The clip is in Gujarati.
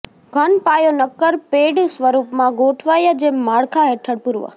ઘન પાયો નક્કર પેડ સ્વરૂપમાં ગોઠવાય જેમ માળખાં હેઠળ પૂર્વ